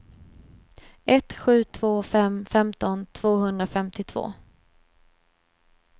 ett sju två fem femton tvåhundrafemtiotvå